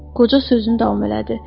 Qoca sözünü davam elədi.